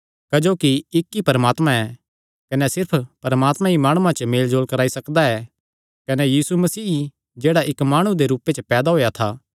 क्जोकि इक्क ई परमात्मा ऐ कने सिर्फ परमात्मा ई माणुआं च मेलजोल कराई सकदा कने सैह़ यीशु मसीह ई ऐ जेह्ड़ा इक्क माणु दे रूपे च पैदा होएया था